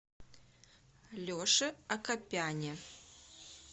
леше акопяне